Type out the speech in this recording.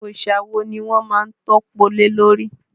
Òòsà wo ni wọ́n má ń tọ́po lé lórí?